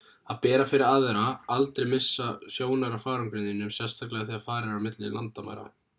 að bera fyrir aðra aldrei missa sjónar af farangrinum þínum sérstaklega þegar farið er á milli landamæra